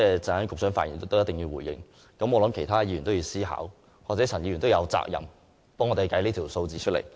局長稍後發言時必須回應，其他議員亦應思考，而陳議員亦有責任為我們計算相關數據。